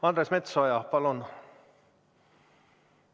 Andres Metsoja, palun!